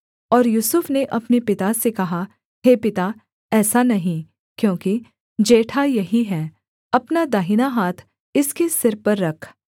और यूसुफ ने अपने पिता से कहा हे पिता ऐसा नहीं क्योंकि जेठा यही है अपना दाहिना हाथ इसके सिर पर रख